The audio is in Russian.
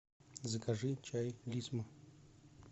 закажи чай лисма